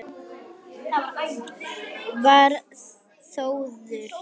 Var Þórður